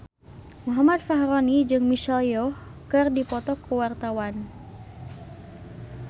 Muhammad Fachroni jeung Michelle Yeoh keur dipoto ku wartawan